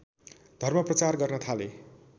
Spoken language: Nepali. धर्मप्रचार गर्न थाले